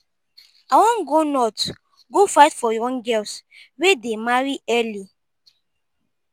i wan go north go fight for young girls wey dey marry early.